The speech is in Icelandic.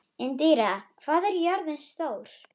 Indíra, hvað er jörðin stór?